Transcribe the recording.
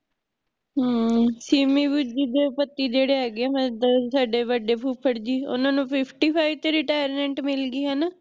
ਹਮ ਸਿਮੀ ਵੀਰ ਜੀ ਦੇ ਪਤੀ ਜਿਹੜੇ ਹੈਗੇ ਆ ਸਾਡੇ ਵਡੇ ਫੁਫੜ ਜੀ ਓਹਨਾਂ ਨੂੰ fifty-five ਚ Retirement ਮਿਲਗੀ ਹੇਨਾ ਹਮ